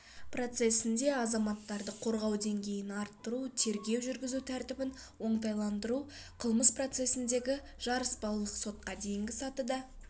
процесінде азаматтарды қорғау деңгейін арттыру тергеу жүргізу тәртібін оңтайландыру қылмыс процесіндегі жарыспалылық сотқа дейінгі сатыда